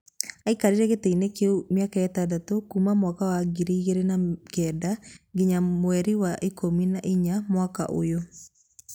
Aikarire gĩtĩ-inĩ kĩu mĩaka ĩtandatũ, kuuma 2009 nginya mweri wa ikũmi na ĩna mwaka ũyũ.